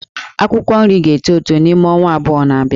Akwụkwọ nri ga-eto n'ime ọnwa abụọ na-abịa